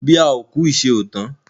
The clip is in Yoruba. Bí a ò kú ìṣe ò tán.